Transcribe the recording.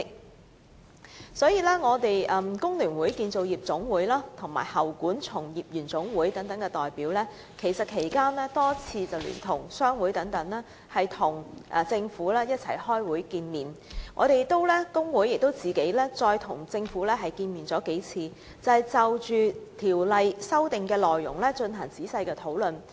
在法案委員會審議《條例草案》期間，香港工會聯合會、香港建造業總工會和香港喉管從業員總會等代表曾多次聯同商會與政府會面，而有關工會代表亦再另行與政府進行數次會面，仔細就《條例草案》的修訂內容進行討論。